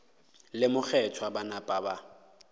le mokgethwa ba napa ba